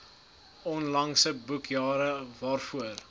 onlangse boekjare waarvoor